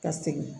Ka segin